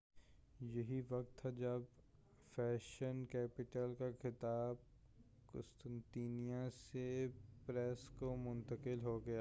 یہی وقت تھا جب فیشن کیپٹل کا خطاب قسطنطنیہ سے پیرس کو منتقل ہو گیا